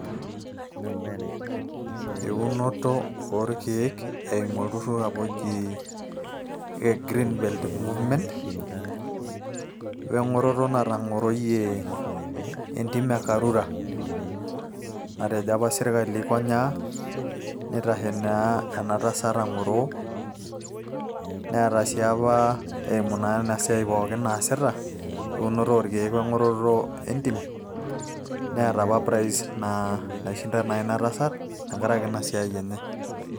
Eunoto orkeek eimu olturrur apa oji Greenbelt Movement, weng'oroto natang'oroyie entim e Karura. Natejo apa sirkali aikonyaa, neitashe enatasat ang'oroo. Neeta si apa eimu na inasiai pooki naasita, eunoto orkeek weng'oroto entim, neeta apa prize naishinda apa inatasat tenkaraki naa inasiai enye.